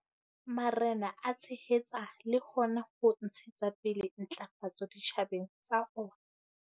Marena a tshehetsa le hona ho ntshetsa pele ntlafatso ditjhabeng tsa ona.